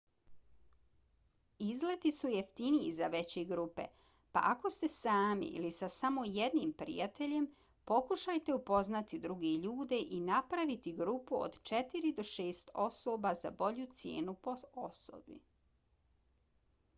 izleti su jeftiniji za veće grupe pa ako ste sami ili sa samo jednim prijateljem pokušajte upoznati druge ljude i napraviti grupu od četiri do šest osoba za bolju cijenu po osobi